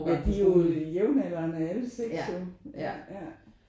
Ja de er jo jævnaldrene alle 6 jo ja ja